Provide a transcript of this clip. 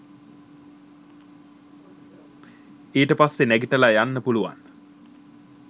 ඊට පස්සේ නැගිටලා යන්න පුළුවන්